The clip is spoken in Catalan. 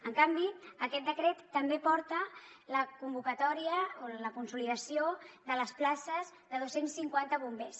en canvi aquest decret també porta la convocatòria o la consolidació de les places de dos cents i cinquanta bombers